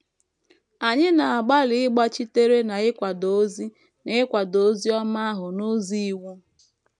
Anyị na - agbalị ịgbachitere na ịkwado ozi na ịkwado ozi ọma ahụ n’ụzọ iwu.